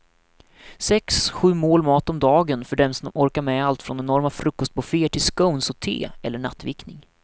Sex, sju mål mat om dagen för den som orkar med allt från enorma frukostbufféer till scones och te eller nattvickning.